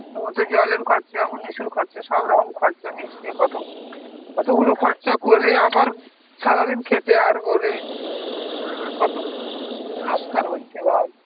তার মধ্যে জলের খরচা এর খরচা সব রকম খরচা মিশিয়ে কত, অতগুলো খরচা করে আবার সারাদিন খেটে আর গলে ও এইবার কত নোসকান হচ্ছে ভাব.